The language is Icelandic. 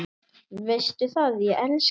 Veistu það, ég elska þig.